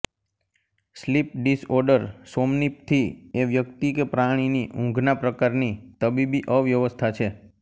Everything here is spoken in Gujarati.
સ્લીપ ડિસઓર્ડર સોમનીપથી એ વ્યક્તિ કે પ્રાણીની ઊંઘના પ્રકારની તબીબી અવ્યવસ્થા છે